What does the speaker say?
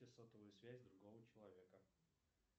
сотовую связь другого человека